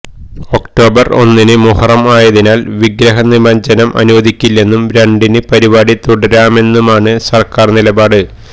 October ഒന്നിന് മുഹറം ആയതിനാല് വിഗ്രഹ നിമജ്ജനം അനുവദിക്കില്ലെന്നും രണ്ടിന് പരിപാടി തുടരാമെന്നുമാണ് സര്ക്കാര് നിലപാട്